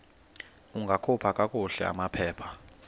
ungakhupha kakuhle amaphepha